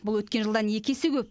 бұл өткен жылдан екі есе көп